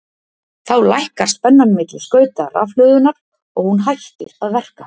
Þá lækkar spennan milli skauta rafhlöðunnar og hún hættir að verka.